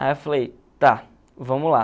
Aí eu falei, tá, vamos lá.